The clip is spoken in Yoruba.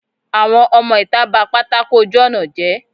àwọn ọmọ itá ba pàtàkó ojù ọna jé.